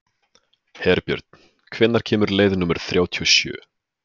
Herbjörn, hvenær kemur leið númer þrjátíu og sjö?